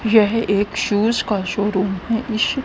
यह एक शूज का शोरूम है ई शू--